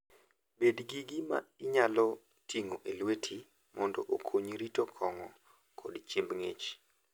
Bed gi gima inyalo ting'o e lweti mondo okonyi rito kong'o koda chiemb ng'ich.